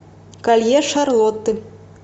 колье шарлотты